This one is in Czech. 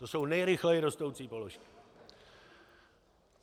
To jsou nejrychleji rostoucí položky.